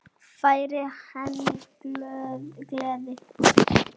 Færir henni gleði.